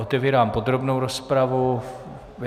Otevírám podrobnou rozpravu.